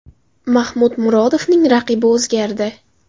Mahmud Murodovning raqibi o‘zgardi.